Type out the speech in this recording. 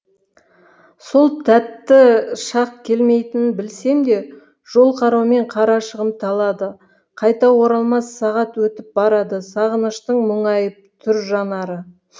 сол тәтті шақ келмейтінін білсем де жол қараумен қарашығым талады қайта оралмас сағат өтіп барады сағыныштың мұңайып тұр жанары